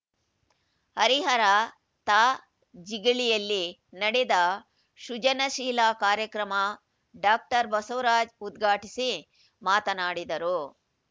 ಹರಿಹರ ತಾ ಜಿಗಳಿಯಲ್ಲಿ ನಡೆದ ಸೃಜನಶೀಲ ಕಾರ್ಯಕ್ರಮ ಡಾಕ್ಟರ್ ಬಸವರಾಜ್‌ ಉದ್ಘಾಟಿಸಿ ಮಾತನಾಡಿದರು